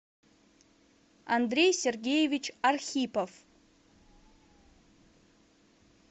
андрей сергеевич архипов